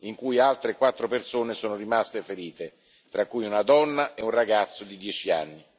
in cui sono rimaste ferite altre quattro persone, tra cui una donna e un ragazzo di dieci anni.